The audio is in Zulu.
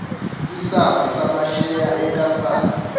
isamba samasheya enkampani